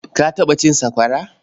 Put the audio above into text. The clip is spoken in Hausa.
Ka taɓa cin sakwara?